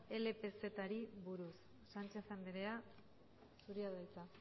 lpzri buruz sánchez andrea zurea da hitza